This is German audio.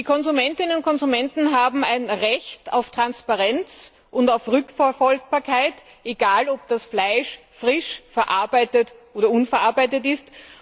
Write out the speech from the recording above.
Die Konsumentinnen und Konsumenten haben ein Recht auf Transparenz und auf Rückverfolgbarkeit, ob das Fleisch nun frisch verarbeitet oder unverarbeitet ist.